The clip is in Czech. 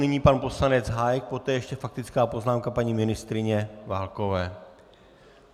Nyní pan poslanec Hájek, poté ještě faktická poznámka paní ministryně Válkové.